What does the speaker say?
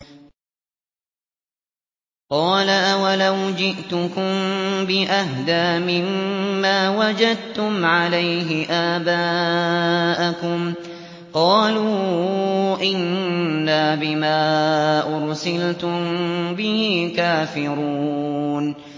۞ قَالَ أَوَلَوْ جِئْتُكُم بِأَهْدَىٰ مِمَّا وَجَدتُّمْ عَلَيْهِ آبَاءَكُمْ ۖ قَالُوا إِنَّا بِمَا أُرْسِلْتُم بِهِ كَافِرُونَ